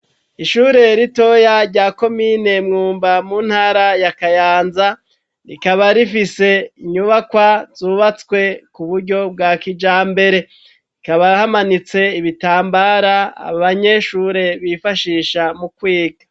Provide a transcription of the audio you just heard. Ishure ritoya rya komine mwumba mu ntara ya kayanza ,rikaba rifise inyubakwa zubatswe ku buryo bwa kijambere ,rikaba hamanitse ibitambara abanyeshure bifashisha mukwiga.